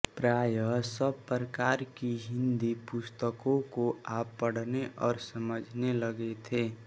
प्रायः सब प्रकार की हिनदी पुस्तकों को आप पढने और समझने लगे थे